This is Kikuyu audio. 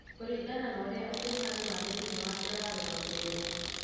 Kũringana na ũrĩa ũkuruhanu wa thĩinie wake ũrarũgamĩrĩrwo.